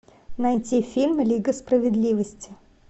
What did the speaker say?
найти фильм лига справедливости